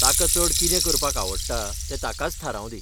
ताका चड कितें करपाक आवडटा तें ताकाच थारावंदी.